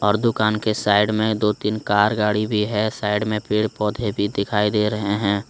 और दुकान के साइड में दो तीन कार गाड़ी भी है साइड में पेड़ पौधे भी दिखाई दे रहे हैं।